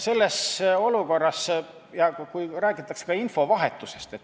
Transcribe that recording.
Räägitakse ka infovahetusest.